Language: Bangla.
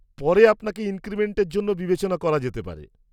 -পরে আপনাকে ইনক্রিমেন্টের জন্য বিবেচনা করা যেতে পারে।